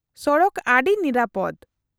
-ᱥᱚᱲᱚᱠ ᱟᱹᱰᱤ ᱱᱤᱨᱟᱹᱯᱚᱫᱽ ᱾